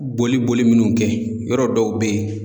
Boli boli minnu kɛ yɔrɔ dɔw be yen